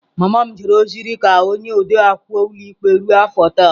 Mama m jere ozi dị ka onye ode akwụkwọ ụlọikpe ruo afọ tel.